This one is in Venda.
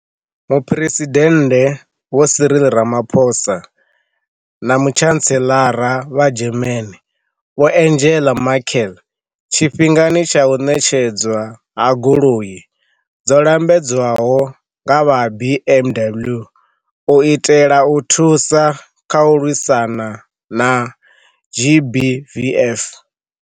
Muphuresidennde Vho Cyril Ramaphosa na Mutshantseḽara vha German Vho Angela Merkel tshifhingani tsha u ṋetshedzwa ha goloi dzo lambedzwaho nga vha ha BMW u itela u thusa kha u lwisana na GBVF.